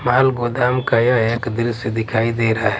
माल गोदाम का यह एक दृश्य दिखाई दे रहा है।